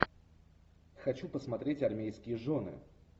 хочу посмотреть армейские жены